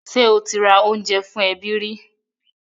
Ṣé ó ti ra oúnjẹ fún àwọn ẹbí rẹ̀?